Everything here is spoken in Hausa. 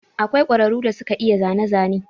Akwai ƙwararu da suke iya zane zane.